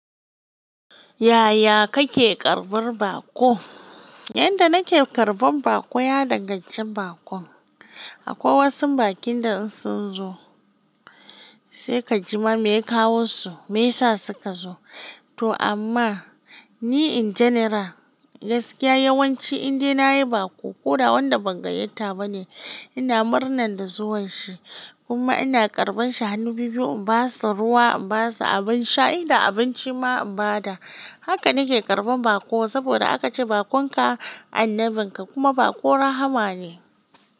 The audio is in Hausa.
Yaya kake karbar baƙo? Yanda nake karɓan baƙo, ya danganci bakon. Akwai wasu bakin da in sun zo, sai ka ji ma me ya kawo su, me yasa suka zo. To amma ni in general, gaskiya yawanci indai nayi baƙo ko da wanda ban gayyata ba ne, ina murnan da zuwan shi. Kuma ina karban shi hannu biyu-biyu, in ba sa ruwa, in ba sa abin sha, idan abinci ma ban da, haka nake karɓan baƙo saboda aka ce bakonka annabin ka kuma baƙo rahma ne.